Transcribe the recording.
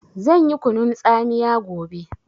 Zan yi kunun tsamiya gobe